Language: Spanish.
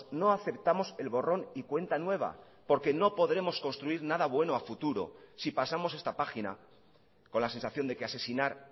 no aceptamos el borrón y cuenta nueva porque no podremos construir nada bueno a futuro si pasamos esta página con la sensación de que asesinar